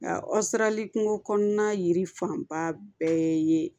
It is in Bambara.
Nka kungo kɔnɔna yiri fanba bɛɛ ye